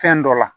Fɛn dɔ la